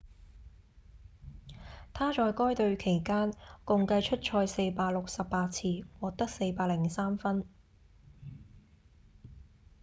他在該隊期間共計出賽468次獲得403分